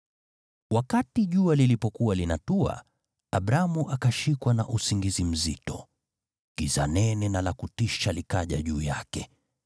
Wakati jua lilipokuwa linatua, Abramu akashikwa na usingizi mzito, giza nene na la kutisha likaja juu yake.